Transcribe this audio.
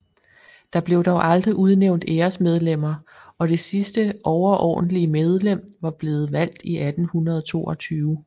Der blev dog aldrig udnævnt æresmedlemmer og det sidste overordentlige medlem var blevet valgt i 1822